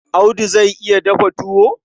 Audu zai iya dafa tuwo?